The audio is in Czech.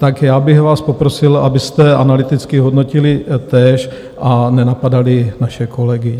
Tak já bych vás poprosil, abyste analyticky hodnotili též a nenapadali naše kolegy.